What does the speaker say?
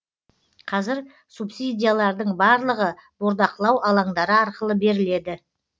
қазір субсидиялардың барлығы бордақылау алаңдары арқылы беріледі